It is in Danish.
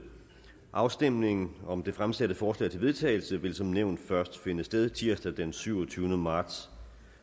afstemningen om det fremsatte forslag til vedtagelse vil som nævnt først finde sted tirsdag den syvogtyvende marts